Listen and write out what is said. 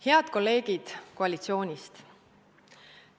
Head kolleegid koalitsioonist!